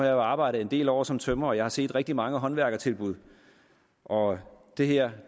jo arbejdet en del år som tømrer og jeg har set rigtig mange håndværkertilbud og det her